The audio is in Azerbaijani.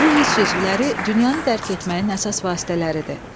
Bu hiss üzvləri dünyanı dərk etməyin əsas vasitələridir.